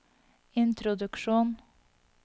introduksjon